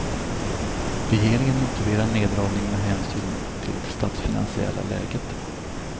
Regeringen motiverar neddragningen med hänsyn till det statsfinansiella läget.